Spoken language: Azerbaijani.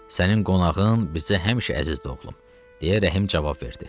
Sənin qonağın bizə həmişə əzizdir oğlum, deyə Rəhim cavab verdi.